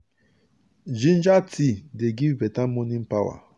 ginger tea dey give beta morning power.